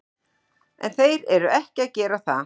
En þeir eru ekki að gera það.